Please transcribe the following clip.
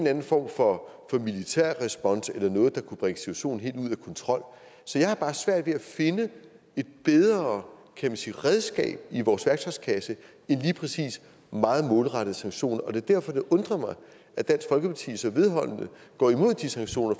anden form for militær respons eller noget der kunne bringe situationen helt ud af kontrol jeg har bare svært ved at finde et bedre kan man sige redskab i vores værktøjskasse end lige præcis meget målrettede sanktioner og det er derfor det undrer mig at dansk folkeparti så vedholdende går imod de sanktioner